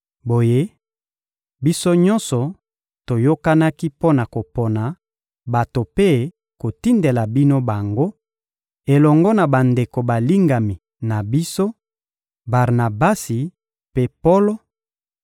Boye, biso nyonso toyokanaki mpo na kopona bato mpe kotindela bino bango, elongo na bandeko balingami na biso, Barnabasi mpe Polo,